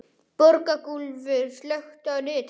Borgúlfur, slökktu á niðurteljaranum.